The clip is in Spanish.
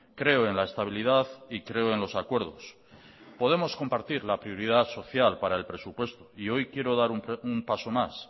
creo en la estabilidad y creo en los acuerdos podemos compartir la prioridad social para el presupuesto y hoy quiero dar un paso más